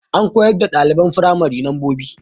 Ana koyar da ɗaliban firamari lambobi